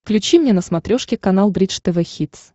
включи мне на смотрешке канал бридж тв хитс